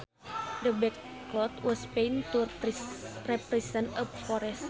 The backcloth was painted to represent a forest